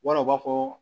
Wala u b'a fɔ